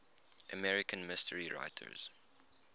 american mystery writers